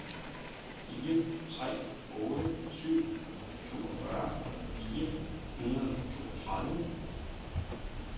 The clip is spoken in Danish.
fire tre otte syv toogfyrre fire hundrede og toogtredive